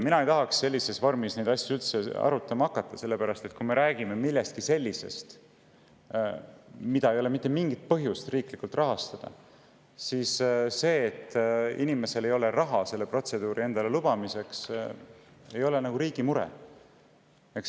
Mina ei tahaks sellises vormis neid asju arutada, sellepärast et kui me räägime millestki sellisest, mille puhul ei ole mitte mingit põhjust seda riiklikult rahastada, siis see, et inimesel ei ole raha selle protseduuri tegemiseks, ei ole nagu riigi mure.